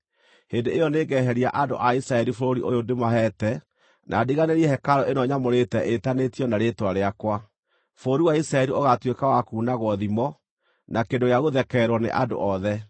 hĩndĩ ĩyo nĩngeheria andũ a Isiraeli bũrũri ũyũ ndĩmaheete na ndiganĩrie hekarũ ĩno nyamũrĩte ĩĩtanio na Rĩĩtwa rĩakwa. Bũrũri wa Isiraeli ũgaatuĩka wa kuunagwo thimo, na kĩndũ gĩa gũthekererwo nĩ andũ othe.